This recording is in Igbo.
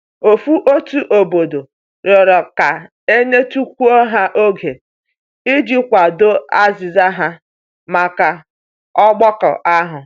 Ofu otu obodo rịọrọ ka e nyetukwuo ha oge i ji kwado azịza ha maka ọgbakọ ahu.